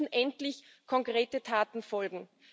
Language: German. Jetzt müssen endlich konkrete Taten folgen.